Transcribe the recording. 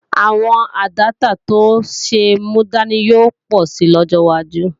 Àwọn àdáptà tó ṣe é múdání yóò pọ̀ si lọ́jọ́ wájú